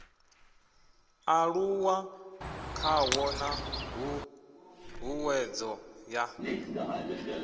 aluwa khawo na ṱhuṱhuwedzo ya